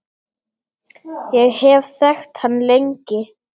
Ég hef þekkt hann lengi.